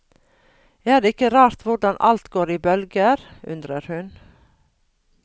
Er det ikke rart hvordan alt går i bølger, undrer hun.